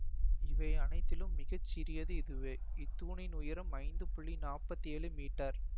அவை அனைத்திலும் மிக சிறியது இதுவே இத்தூணின் உயரம் ஐந்து புள்ளி நாப்பத்தி ஏழு மீட்டர்